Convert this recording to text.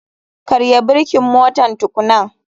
Karya birkin motar tukunan.